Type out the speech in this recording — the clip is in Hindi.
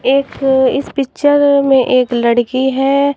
एक इस पिक्चर में एक लड़की है।